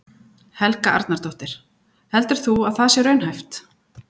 Helga Arnardóttir: Heldur þú að það sé raunhæft?